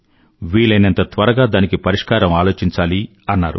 వీలయినంత త్వరగా దానికి పరిష్కారం ఆలోచించాలి అన్నారు